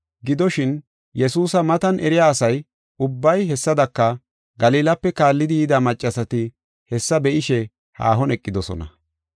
Gidoshin, Yesuusa matan eriya asa ubbay, hessadaka Galilape kaallidi yida maccasati hessa be7ishe haahon eqidosona.